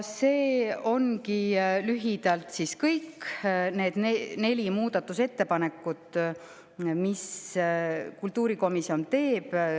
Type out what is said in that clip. See ongi lühidalt kõik nende nelja muudatusettepaneku kohta, mis kultuurikomisjon tegi.